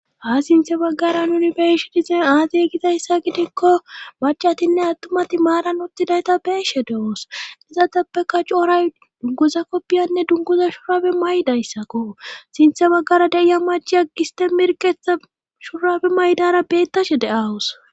Ha sinthe baggara nuni beeshe dizen aadey gidayssa gidikko macatinne attumati maadhan uttidayta beeshe de'oos izadappeka cooray dunguza koppiyanne dunguza shoraabe may'dayssako sinthe baggara deiya machi aggiste mirketha shurafe maydara beettashe de'aawos.